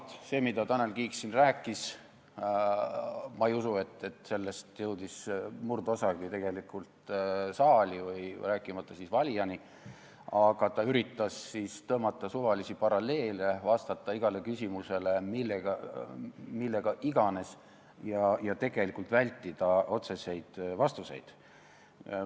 Ma ei usu, et sellest, mida Tanel Kiik siin rääkis, jõudis murdosagi saali, rääkimata valijatest, aga ta üritas tõmmata suvalisi paralleele, vastata igale küsimusele millega iganes ja tegelikult vältida otseseid vastuseid.